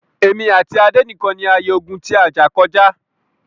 Èmi àti Adé nìkan ni a ye ogún ti a jà kọjá.